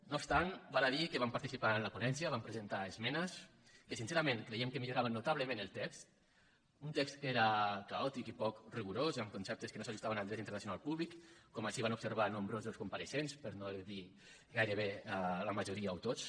no obstant val a dir que vam participar en la ponència vam presentar esmenes que sincerament creiem que milloraven notablement el text un text que era caò tic i poc rigorós i amb conceptes que no s’ajustaven al dret internacional públic com així van observar nombrosos compareixents per no dir gairebé la majoria o tots